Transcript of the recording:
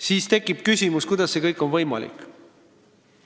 Siis tekib küsimus, kuidas see kõik on võimalik.